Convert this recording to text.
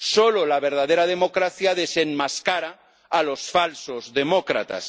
Solo la verdadera democracia desenmascara a los falsos demócratas.